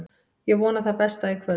Ég vona það besta í kvöld.